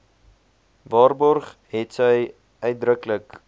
waarborg hetsy uitdruklik